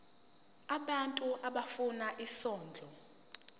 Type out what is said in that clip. abantu abafuna isondlo